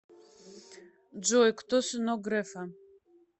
джой кто сынок грефа